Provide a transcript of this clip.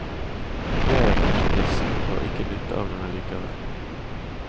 Jeg er pensjonist, og har ikke nytte av den likevel.